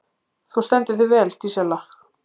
Þú stendur þig vel, Dísella!